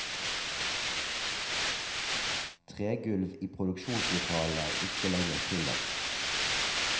Tregulv i produksjonslokalene er ikke lenger tillatt.